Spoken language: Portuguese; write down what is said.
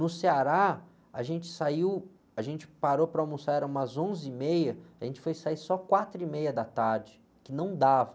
No Ceará, a gente saiu, a gente parou para almoçar, era umas onze e meia, a gente foi sair só quatro e meia da tarde, que não dava.